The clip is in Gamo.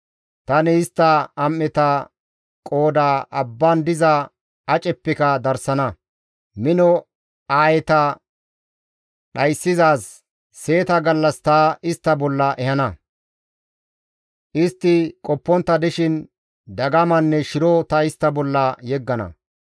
Tani istta am7eta qooda abban diza aceppeka darsana; mino aayeta dhayssizaaz seeta gallas ta istta bolla ehana; istti qoppontta dishin dagamanne shiro ta istta bolla yeggana.